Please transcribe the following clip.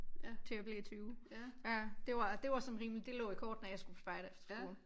Til jeg blev 20 ja det var det var sådan rimelig det lå i kortene at jeg skulle på spejderefterskole